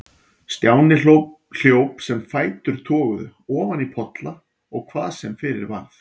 Stjáni hljóp sem fætur toguðu, ofan í polla og hvað sem fyrir varð.